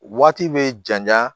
Waati bɛ janya